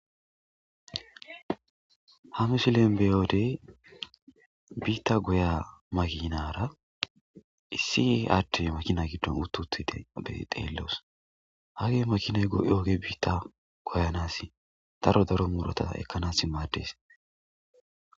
Ha misilen beyodey biitta goya makinara issi ade makina giddon uttuthide be xeelloos hage makinay go'yoge biitta goyanass daro daro muurota ekkanas maadees.